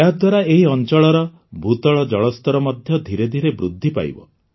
ଏହାଦ୍ୱାରା ଏହି ଅଞ୍ଚଳର ଭୂତଳ ଜଳସ୍ତର ମଧ୍ୟ ଧିରେ ଧିରେ ବୃଦ୍ଧି ପାଇବ